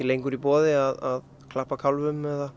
lengur í boði að klappa